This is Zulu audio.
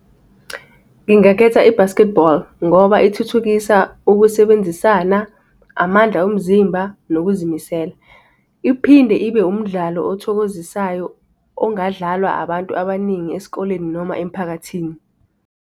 Ngingakhetha i-basketball, ngoba ithuthukisa ukusebenzisana, amandla omzimba nokuzimisela. Iphinde ibe umdlalo othokozisayo, ongadlalwa abantu abaningi esikoleni noma emphakathini.